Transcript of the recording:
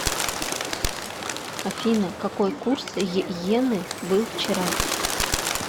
афина какой курс йены был вчера